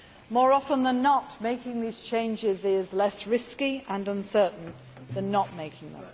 More often than not, making these changes is less risky and uncertain than not making them.